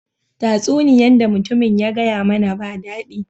Tasuniyan da mutumin ya gaya mana ba dadi.